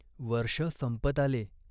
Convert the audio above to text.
वर्ष संपत आले.